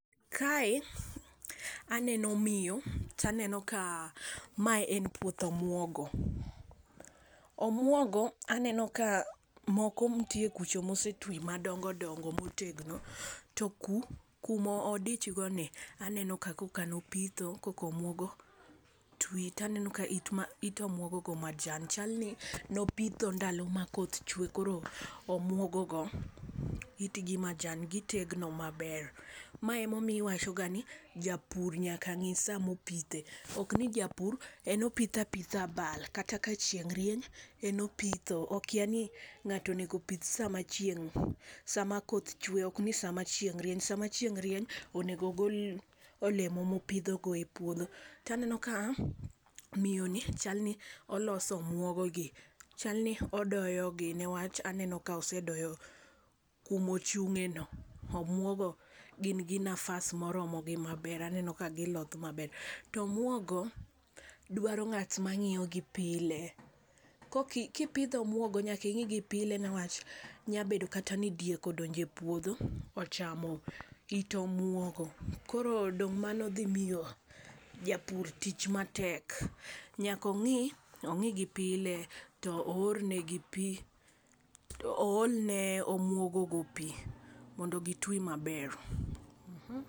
Kae aneno miyo taneno kaa mae en puoth omuogo. Omuogo enonoka moko nitie kucho mosetwi madongo dongo motegno. To ku kumodichgoni aneno ka koka nopitho koka omuogo twi to aneno ka it omuogo majan chalni nopitho ndalo makoth chue koro omuogogo itgi majan gi tegno maber. Mae ema iwachogani japur nyaka ng'i sama opithe. Okni japur en opitho apitha abal kata ka chieng' rieny en opitho. Okiani ng'ato onego pith sama chieng' sama koth chue ok ni sama chieng' rieny, sama chieng' rieny onego gol olemo mopidhogo epuodho. To aneno ka miyoni chalni oloso omuogogi, chalni odoyogi newach aneno ka osedoyo kuma ochung'eno omuogo gin gi nafas moromogi maber, aneno ka gi loth maber. To omuogo dwaro ng'at mang'iyogi pile. Kok kipidho omuogo nyaka ing'igi pile newach nyalo bedo kata ni diek odonje epuodho ochamo it omuogo koro dong' mano dhi miyo japur tich matek. Nyaka ong'igi pile to orne gi pii oolne omuogogo pii mondo gi twi maber.